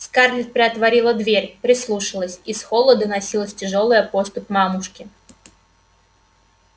скарлетт приотворила дверь прислушалась из холла доносилась тяжёлая поступь мамушки